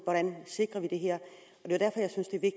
hvordan vi sikrer det her